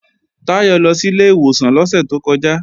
Táyọ̀ lọ sí ilé ìwòsàn lọ́sẹ̀ tó kọjá